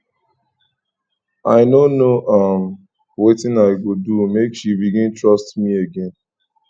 i no know um wetin i go do make she begin um trust me again